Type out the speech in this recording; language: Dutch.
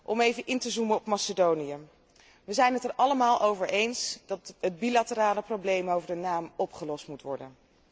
Om even in te zoomen op Macedonië wij zijn het er allemaal over eens dat het bilaterale probleem over de naam opgelost moet worden.